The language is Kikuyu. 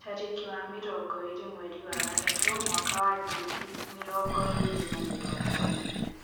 Tarĩki wa mirongo ĩĩrĩ mweri wa gatatũ, mwaka wa ngiri mĩrongo ĩĩrĩ na mĩrongo ĩĩrĩ.